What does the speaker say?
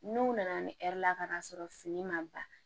N'u nana ne la ka n'a sɔrɔ fini ma ban